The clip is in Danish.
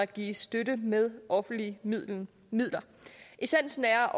givet støtte med offentlige midler midler essensen er